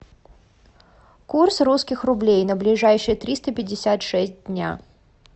курс русских рублей на ближайшие триста пятьдесят шесть дня